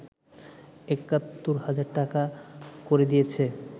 ৭১ হাজার টাকা করে দিয়েছে